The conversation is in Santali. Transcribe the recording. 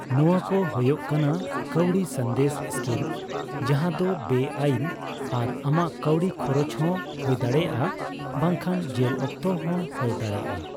ᱱᱚᱣᱟ ᱠᱚ ᱦᱳᱭᱳᱜ ᱠᱟᱱᱟ ᱠᱟᱹᱣᱰᱤ ᱥᱟᱸᱫᱮᱥ ᱤᱥᱠᱤᱢ ᱡᱟᱸᱦᱟ ᱫᱚ ᱵᱮᱼᱟᱭᱤᱱ ᱟᱨ ᱟᱢᱟᱜ ᱠᱟᱣᱰᱤ ᱠᱷᱚᱨᱚᱪ ᱦᱚᱸ ᱦᱳᱭ ᱫᱟᱲᱮᱭᱟᱜᱼᱟ ᱵᱟᱝᱠᱷᱟᱱ ᱡᱮᱞ ᱚᱠᱛᱚ ᱦᱚᱸ ᱦᱳᱭ ᱫᱟᱲᱮᱭᱟᱜᱼᱟ ᱾